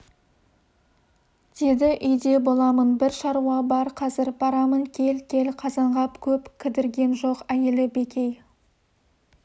деді үйде боламын бір шаруа бар қазір барамын кел кел қазанғап көп кідірген жоқ әйелі бекей